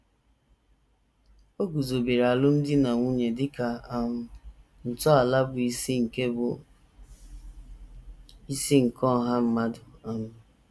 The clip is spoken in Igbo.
O guzobere alụmdi na nwunye dị ka um ntọala bụ́ isi nke bụ́ isi nke ọha mmadụ um.